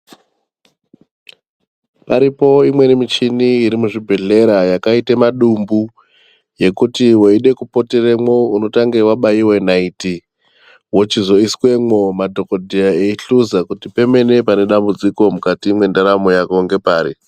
Paripo imweni mishini iri muzvibhedhlera yakaita madumbu yekuti weide kupoteremo unotange wabaiwe naiti wochizoisemwo madhokodheya eihloza kuti pemene pane dambudziko mukati mwendaramo yako ngepaari.